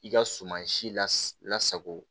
I ka suman si la sago